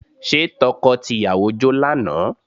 Ṣé tọkọ tìyàwó jó lánàá?